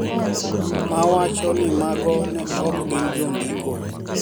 Ma wacho ni mago ne ok gin jondiko